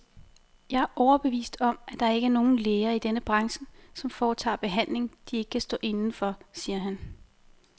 Jeg er overbevist om, at der ikke er nogen læger i denne branche, som foretager behandlinger, de ikke kan stå inde for, siger han.